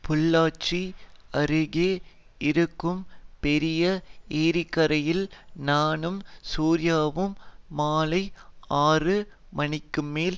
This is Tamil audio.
பொள்ளாச்சி அருகே இருக்கும் பெரிய ஏரிக்கரையில் நானும் சூர்யாவும் மாலை ஆறு மணிக்குமேல்